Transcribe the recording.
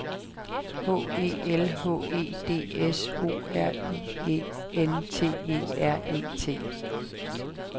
H E L H E D S O R I E N T E R E T